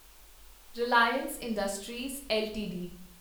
Reliance industries LTD